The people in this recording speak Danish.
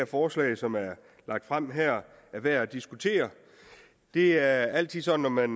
forslag som er lagt frem her er værd at diskutere det er altid sådan når man